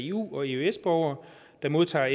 eu og eøs borgere der modtager